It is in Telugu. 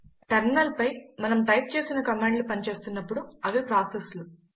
టెర్మినల్ పై మనం టైప్ చేసిన కమాండ్లు పని చేస్తున్నపుడు అవి ప్రాసెస్లు